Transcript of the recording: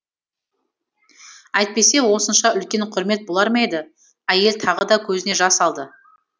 әйтпесе осынша үлкен құрмет болар ма еді әйел тағы да көзіне жас алды